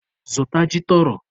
Zụta ji tọrọ!